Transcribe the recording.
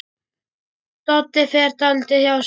Doddi fer dálítið hjá sér.